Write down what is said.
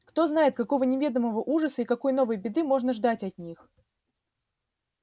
кто знает какого неведомого ужаса и какой новой беды можно ждать от них